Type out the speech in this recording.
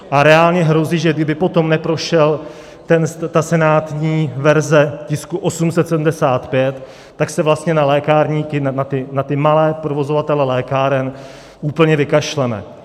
A reálně hrozí, že kdyby potom neprošla ta senátní verze tisku 875, tak se vlastně na lékárníky, na ty malé provozovatele lékáren, úplně vykašleme.